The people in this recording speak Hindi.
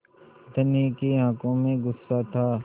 धनी की आँखों में गुस्सा था